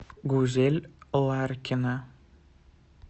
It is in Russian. гузель ларкина